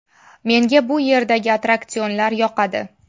Menga bu yerdagi attraksionlar yoqadi.